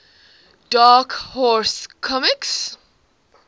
dark horse comics